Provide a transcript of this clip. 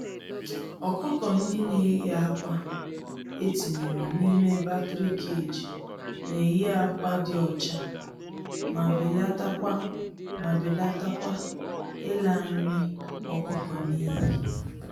Ọkụkọ-ndị-neyi-ákwà etinyere n'ime battery cage, neyi ákwà dị ọcha, ma belatakwa ma belatakwa ịla nri ọkụkọ n'iyi.